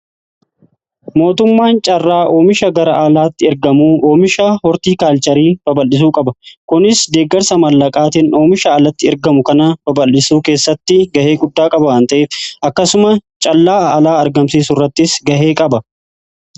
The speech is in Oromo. mootummaan caarraa oomisha gara alaatti ergamuu fi oomisha hortii kaalcharii babal'isuu qaba. kunis deeggarsa mallaqaatin oomisha alatti ergamu kana babal'isuu keessatti gahee guddaa qaba. akkasumas callaa alaa argamsiisu irrattis gahee qaba.